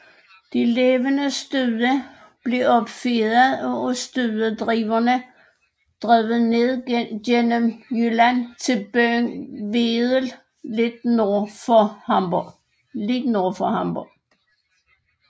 De levende stude blev opfedet og af studedrivere drevet ned gennem Jylland til byen Wedel lidt nord for Hamburg